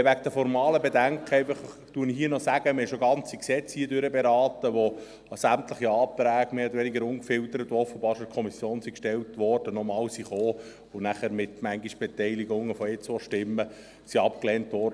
Zu den formalen Bedenken möchte ich sagen, dass wir bereits ganze Gesetze beraten haben, zu denen sämtliche Anträge, welche offenbar in der Kommission bereits gestellt worden waren, im Rat mehr oder weniger ungefiltert ebenfalls nochmals thematisiert wurden und anschliessend mit Beteiligungen von einer bis zwei Stimmen abgelehnt wurden.